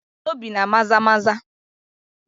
Obii na Maza maza